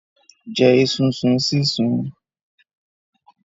Jẹ esunsun sísun.